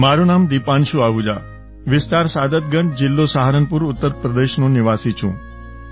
મારું નામ દીપાંશુ આહુજા વિસ્તાર સાદતગંજ જિલ્લો સહારનપુર ઉત્તર પ્રદેશનો નિવાસી છું